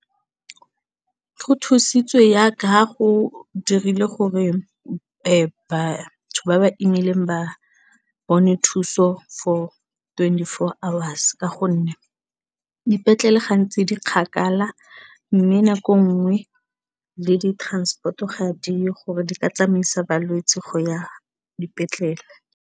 Go thusitswe jaaka go dirile gore batho ba ba imileng ba bone thuso for twenty four a hours ka gonne dipetlele gantsi di kgakala mme nako nngwe le di transport-o ga di yo gore di ka tsamaisa balwetse go ya dipetlele.